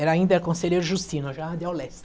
Era ainda conselheiro Justino, já de ao leste.